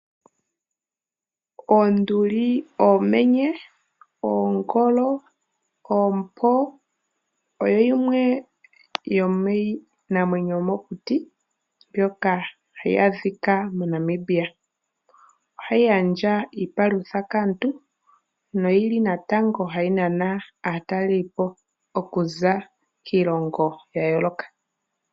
Oonduli, oomenye, oongolo noompo oyo yimwe yomiinamwenyo yomokuti mbyoka hayi adhika moNamibia. Ohayi gandja iipalutha kaantu nohayi nana aatalelipo okuza kiilongo ya yooloka.